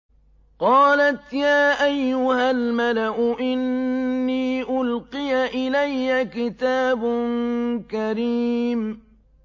قَالَتْ يَا أَيُّهَا الْمَلَأُ إِنِّي أُلْقِيَ إِلَيَّ كِتَابٌ كَرِيمٌ